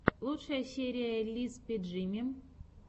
лучшая серия лиспи джимми